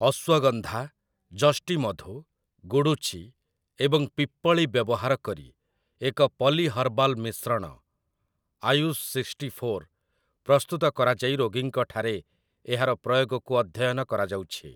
ଅଶ୍ୱଗନ୍ଧା, ଯଷ୍ଟିମଧୁ, ଗୁଡ଼ୁଚି ଏବଂ ପିପ୍ପଳି ବ୍ୟବହାରକରି ଏକ ପଲି ହର୍ବାଲ ମିଶ୍ରଣ 'ଆୟୁଷ୍ ସିକ୍ସ୍ଟିଫୋର୍' ପ୍ରସ୍ତୁତ କରାଯାଇ ରୋଗୀଙ୍କଠାରେ ଏହାର ପ୍ରୟୋଗକୁ ଅଧ୍ୟୟନ କରାଯାଉଛି ।